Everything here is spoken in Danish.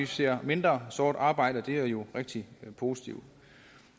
ser mindre sort arbejde og det er jo rigtig positivt